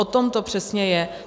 O tom to přesně je!